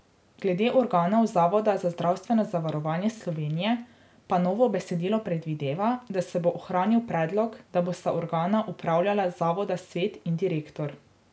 Glede organov Zavoda za zdravstveno zavarovanje Slovenije pa novo besedilo predvideva, da se bo ohranil predlog, da bosta organa upravljanja zavoda svet in direktor.